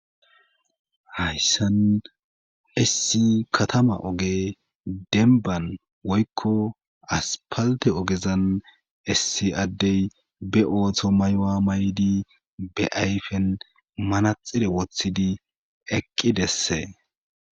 hayssan essi katama oge denban woykko aspalte ogezan essi addey be ootho maywa maydi be ayfen manaxire woththidi eqqi desse